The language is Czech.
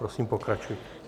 Prosím, pokračujte.